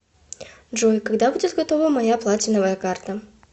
джой когда будет готова моя платиновая карта